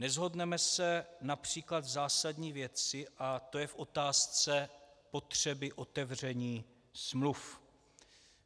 Neshodneme se například v zásadní věci, a to je v otázce potřeby otevření smluv.